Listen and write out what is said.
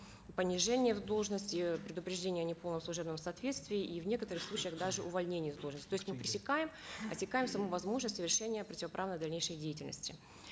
понижение в должности предупреждение неполного служебного соответствия и в некоторых случаях даже увольнение с должности то есть мы пресекаем отсекаем саму возможность совершения противоправной дальнейшей деятельности